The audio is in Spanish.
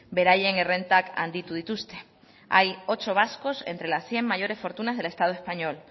beraien errentak handitu dituzte hay ocho vascos entre las cien mayores fortunas del estado español